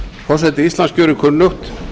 forseti íslands gerir kunnugt